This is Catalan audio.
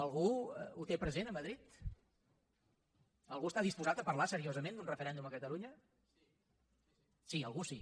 algú ho té present a madrid algú està disposat a parlar seriosament d’un referèndum a catalunya sí algú sí